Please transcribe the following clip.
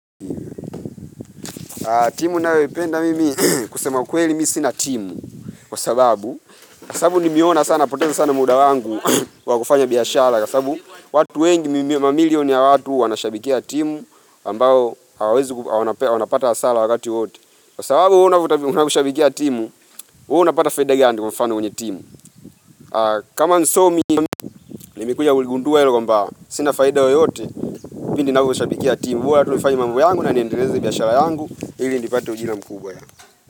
Timu ninayoipenda mimi, kusema ukweli mi sina timu, kwa sababu, kwa sababu nimeona sana hupoteza sana muda wangu wa kufanya biashara, kwa sababu watu wengi mamilion ya watu wanashabikia timu ambayo hawawezi wanapata hasara wakati wote. Kwa sababu unavyoshabikia timu, huwa unapata faida gani kwa mfano kwenye timu. Kama msomi nimekuja kuligundua hilo kwamba, sina faida yoyote, pindi ninavyo shabikia timu, bora tu nifanye mambo yangu na niendeleze biashara yangu, ili inipate ujira mkubwa yaa.